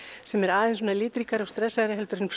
sem er aðeins litríkari og stressaðri en